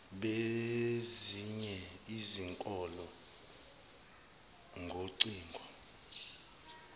bezinye izikole ngocingo